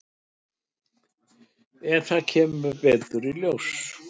En það kemur betur í ljós.